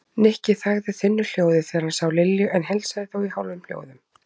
Nikki þagði þunnu hljóði þegar hann sá Lilju en heilsaði þó í hálfum hljóðum.